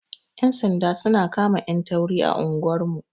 Yan sanda su na kama 'yan tauri a anguwar mu.